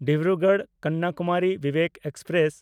ᱰᱤᱵᱽᱨᱩᱜᱚᱲ–ᱠᱚᱱᱱᱟᱠᱩᱢᱟᱨᱤ Vivek express